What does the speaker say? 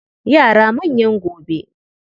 Yara manyan gobe